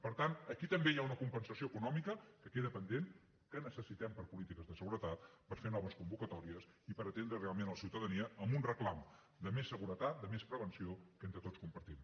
per tant aquí també hi ha una compensació econòmica que queda pendent que necessitem per a polítiques de seguretat per fer noves convocatòries i per atendre realment la ciutadania amb un reclam de més seguretat de més prevenció que entre tots compartim